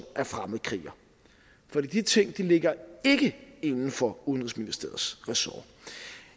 er fremmedkriger for de ting ligger ikke inden for udenrigsministeriets ressort